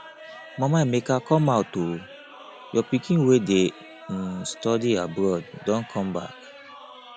mama emeka come out oo your pikin wey dey um study abroad don come back